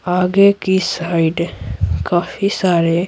आगे की साइड काफी सारे--